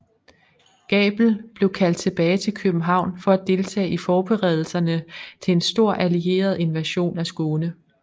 Gabel blev kaldt tilbage til København for at deltage i forberedelserne til en stor allieret invasion af Skåne